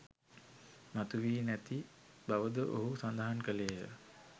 මතු වී නැති බවද ඔහු සඳහන් කළේය.